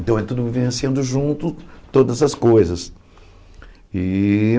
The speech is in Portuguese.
Então, é tudo vivenciando junto todas as coisas e.